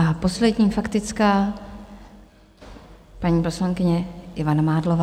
A poslední faktická - paní poslankyně Ivana Mádlová.